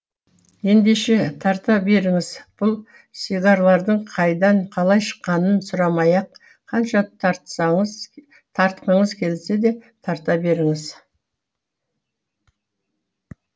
ендеше тарта беріңіз бұл сигарлардың қайдан қалай шыққанын сұрамай ақ қанша тартқыңыз келсе де тарта беріңіз